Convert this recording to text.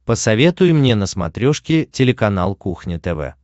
посоветуй мне на смотрешке телеканал кухня тв